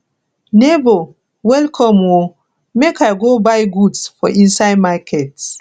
nebor welcome o make i go buy goods for inside market